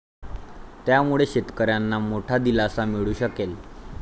त्यामुळे शेतकऱ्यांना मोठा दिलासा मिळू शकेल.